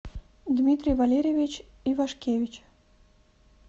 дмитрий валерьевич ивашкевич